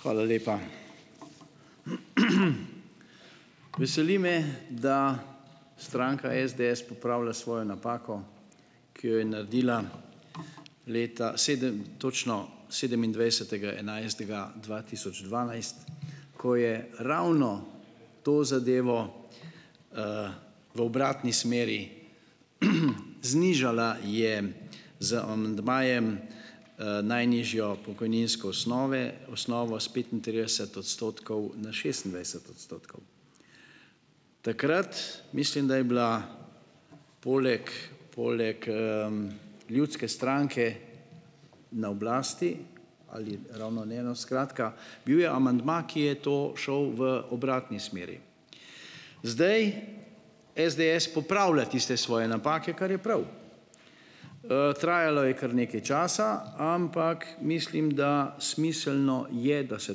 Hvala lepa. Veseli me, da stranka SDS popravlja svojo napako, ki jo je naredila leta točno sedemindvajsetega enajstega dva tisoč dvanajst, ko je ravno to zadevo, v obratni smeri, znižala je z amandmajem, najnižjo pokojninsko osnove, osnovo s petintrideset odstotkov na šestindvajset odstotkov. Takrat, mislim, da je bila poleg poleg, Ljudske stranke na oblasti, ali ravno ne, no, skratka, bil je amandma, ki je to šel v obratni smeri. Zdaj SDS popravlja tiste svoje napake, kar je prav. Trajalo je kar nekaj časa, ampak mislim, da smiselno je, da se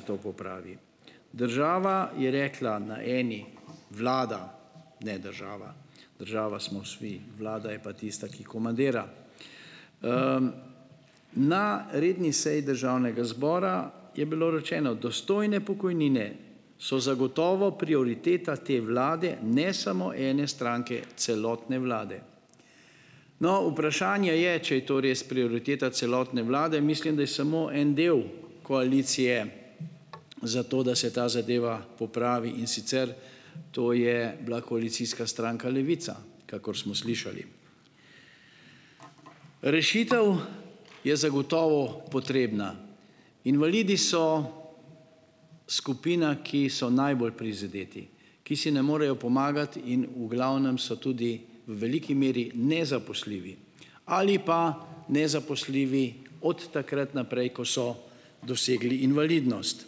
to popravi. Država je rekla na eni, vlada, ne, država, država smo vsi, vlada je pa tista, ki komandira, na redni seji državnega zbora je bilo rečeno: "Dostojne pokojnine so zagotovo prioriteta te vlade, ne samo ene stranke, celotne vlade". No, vprašanje je, če je to res prioriteta celotne vlade, mislim, da je samo en del koalicije za to, da se ta zadeva popravi, in sicer to je bila koalicijska stranka Levica, kakor smo slišali. Rešitev je zagotovo potrebna. Invalidi so skupina, ki so najbolj prizadeti, ki si ne morejo pomagati in v glavnem so tudi v veliki meri nezaposljivi ali pa nezaposljivi od takrat naprej, ko so dosegli invalidnost.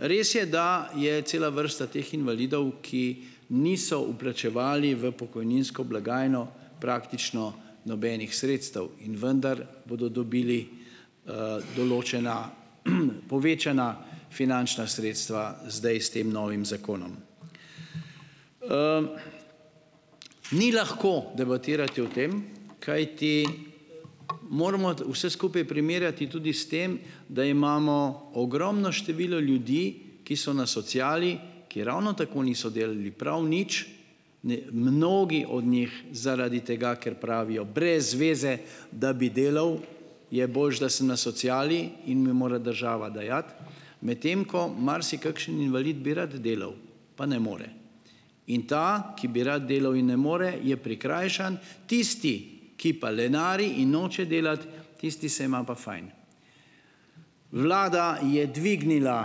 Res je, da je cela vrsta teh invalidov, ki niso vplačevali v pokojninsko blagajno praktično nobenih sredstev, in vendar bodo dobili, določena povečana finančna sredstva zdaj s tem novim zakonom. Ni lahko debatirati o tem, kajti moramo vse skupaj primerjati tudi s tem, da imamo ogromno število ljudi, ki so na sociali, ki ravno tako niso delali prav nič, ne, mnogi od njih zaradi tega, ker pravijo: "Brez veze, da bi delal, je boljše, da sem na sociali in mi mora država dajati," medtem ko marsikakšen invalid bi rad delal pa ne more, in ta, ki bi rad delal in ne more, je prikrajšan, tisti, ki pa lenari in noče delati, tisti se ima pa fajn. Vlada je dvignila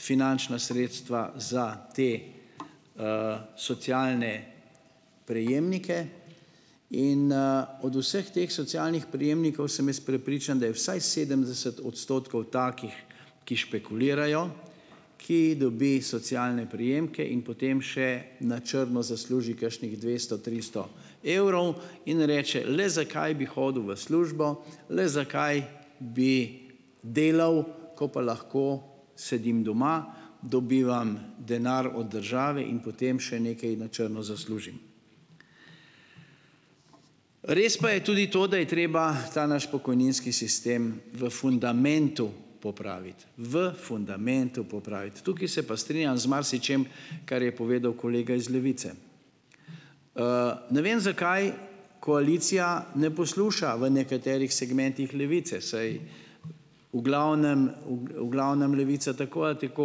finančna sredstva za te, socialne prejemnike in, od vseh teh socialnih prejemnikov sem jaz prepričan, da je vsaj sedemdeset odstotkov takih, ki špekulirajo, ki dobi socialne prejemke in potem še na črno zasluži kakšnih dvesto, tristo evrov in reče: "Le zakaj bi hodil v službo, le zakaj bi delal, ko pa lahko sedim doma, dobivam denar od države in potem še nekaj na črno zaslužim." Res pa je tudi to, da je treba ta naš pokojninski sistem v fundamentu popraviti, v fundamentu popraviti. Tukaj se pa strinjam z marsičim, kar je povedal kolega iz Levice. Ne vem, zakaj koalicija ne posluša v nekaterih segmentih Levice, saj v glavnem v glavnem Levica tako ali tako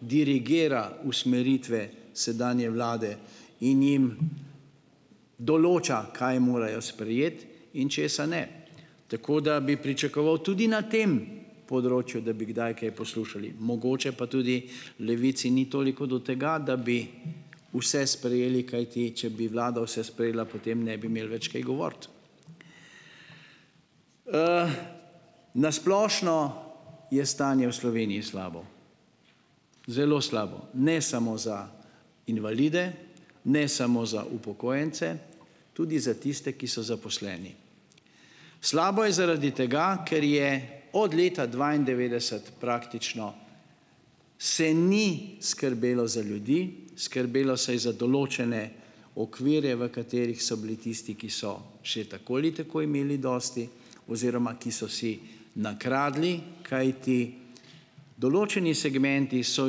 dirigira usmeritve sedanje vlade in jim določa, kaj morajo sprejeti in česa ne. Tako da bi pričakoval tudi na tem področju, da bi kdaj kaj poslušali. Mogoče pa tudi Levici ni toliko do tega, da bi vse sprejeli, kajti, če bi vlada vse sprejela, potem ne bi imeli več kaj govoriti. Na splošno je stanje v Sloveniji slabo, zelo slabo. Ne samo za invalide, ne samo za upokojence, tudi za tiste, ki so zaposleni. Slabo je zaradi tega, ker je od leta dvaindevetdeset praktično se ni skrbelo za ljudi, skrbelo se je za določene okvirje, v katerih so bili tisti, ki so še tako ali tako imeli dosti oziroma, ki so si nakradli, kajti določeni segmenti so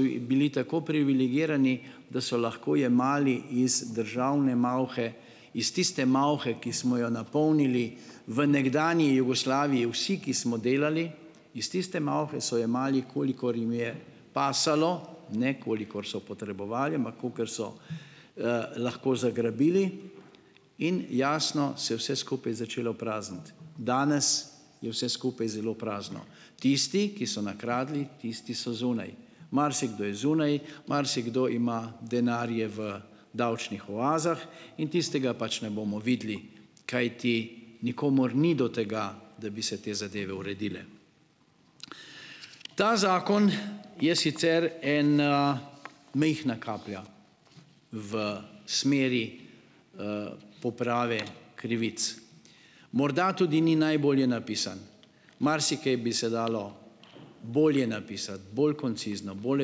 bili tako privilegirani, da so lahko jemali iz državne malhe, iz tiste malhe, ki smo jo napolnili v nekdanji Jugoslaviji vsi, ki smo delali. Iz tiste malhe so jemali, kolikor jim je pasalo, ne kolikor so potrebovali, ampak kakor so, lahko zagrabili in jasno se je vse skupaj začelo prazniti. Danes je vse skupaj zelo prazno. Tisti, ki so nakradli, tisti so zunaj. Marsikdo je zunaj, marsikdo ima denarje v davčnih oazah in tistega pač ne bomo videli, kajti nikomur ni do tega, da bi se te zadeve uredile. Ta zakon je sicer ena, majhna kaplja v smeri, poprave krivic. Morda tudi ni najbolje napisan. Marsikaj bi se dalo bolje napisati, bolj koncizno, bolj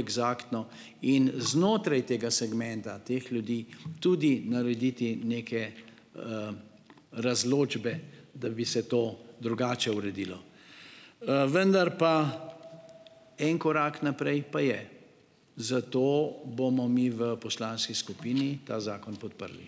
eksaktno in znotraj tega segmenta teh ljudi, tudi narediti neke, razločbe, da bi se to drugače uredilo. Vendar pa en korak naprej pa je, zato bomo mi v poslanski skupini ta zakon podprli.